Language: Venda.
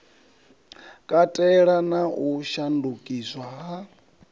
katela na u shandukiswa ha